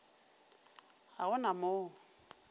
ga go na mo o